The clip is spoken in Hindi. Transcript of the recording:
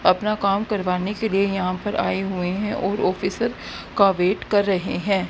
अपना काम करवाने के लिए यहां पर आए हुए हैं और ऑफिसर का वेट कर रहे हैं।